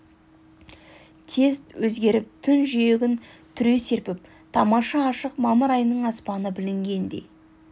тез өзгеріп түн жиегін түре серпіп тамаша ашық мамыр айының аспаны білінгендей